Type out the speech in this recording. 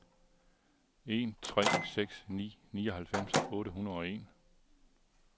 en tre seks ni nioghalvfems otte hundrede og en